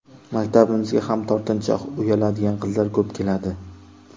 Maktabimizga ham tortinchoq, uyaladigan qizlar ko‘p keladi.